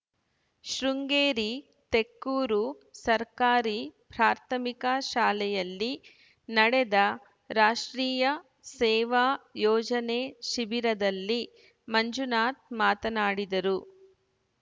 ಶೃಂಗೇರಿ ತೆಕ್ಕೂರು ಸರ್ಕಾರಿ ಪ್ರಾಥಮಿಕ ಶಾಲೆಯಲ್ಲಿ ನಡೆದ ರಾಷ್ಟ್ರೀಯ ಸೇವಾ ಯೋಜನೆ ಶಿಬಿರದಲ್ಲಿ ಮಂಜುನಾಥ್‌ ಮಾತನಾಡಿದರು